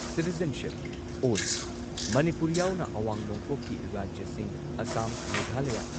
citizenship all Manipur ꯌꯥꯎꯅ ꯑꯋꯥꯡ ꯅꯣꯡꯄꯣꯛꯀꯤ ꯔꯥꯖ꯭ꯌꯁꯤꯡ ꯑꯁꯥꯝ, ꯃꯦꯘꯥꯂꯥꯌꯥ,